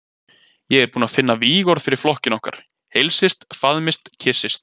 Ég er búinn að finna vígorð fyrir flokkinn okkar: Heilsist, faðmist, kyssist.